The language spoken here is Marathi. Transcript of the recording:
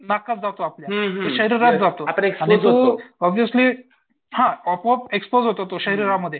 नाकात जातो आपल्या शरीरात जातो आपण एक ऑब्व्हियसली हां आपोआप एक्स्पोज होतो तो शरीरामध्ये.